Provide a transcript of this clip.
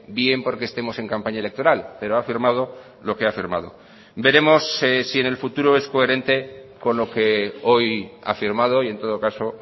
bien porque estemos en campaña electoral pero ha firmado lo que ha firmado veremos si en el futuro es coherente con lo que hoy ha firmado y en todo caso